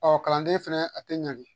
Ɔ kalanden fɛnɛ a tɛ ɲa de